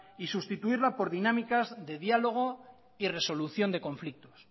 y sustituirla por dinámicas de diálogo y resolución de conflictos